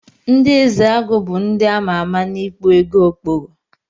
Ndi ezeagu bu ndi amama na ikpụ ego okpogho.